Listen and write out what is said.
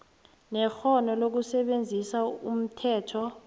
nekghono lokusebenzisa umthetho